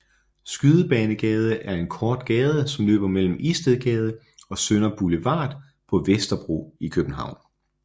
Skydebanegade er en kort gade som løber mellem Istedgade og Sønder Boulevard på Vesterbro i København